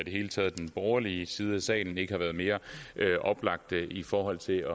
hele taget den borgerlige side af salen ikke har været mere oplagt i forhold til